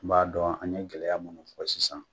N b'a dɔn an be gɛlɛya mun na o t e fɔ sisan